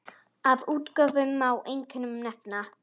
Af útgáfum má einkum nefna